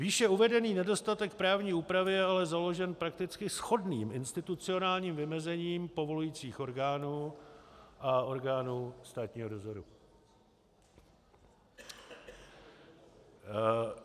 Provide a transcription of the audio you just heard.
Výše uvedený nedostatek právní úpravy je ale založen prakticky shodným institucionálním vymezením povolujících orgánů a orgánů státního dozoru.